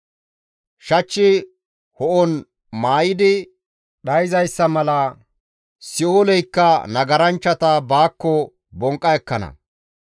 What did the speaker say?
Shachchi ho7on maayidi dhayzayssa mala si7ooleykka nagaranchchata baakko bonqqa ekkana.